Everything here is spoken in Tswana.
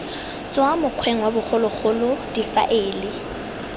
tswa mokgweng wa bogologolo difaele